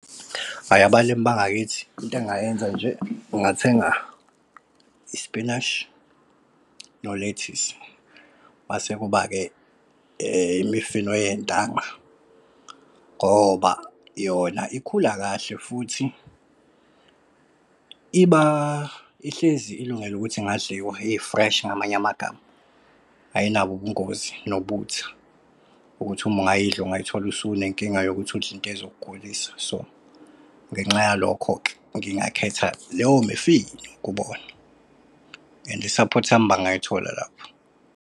Hhayi, abalimi bangakithi into engingayenza nje ngingathenga ispinashi no-lethisi. Mase kuba-ke imifino yentanga, ngoba yona ikhula kahle futhi iba ihlezi ilungele ukuthi ingadliwa, i-fresh ngamanye amagama, ayinabo ubungozi nobuthi ukuthi uma ungayidli ungayithola usune inkinga yokuthi udle into ezokugulisayo. So ngenxa yalokho-ke ngingakhetha leyo mifino kubona and i-support yami bangayithola lapho.